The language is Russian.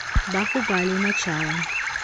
бахубали начало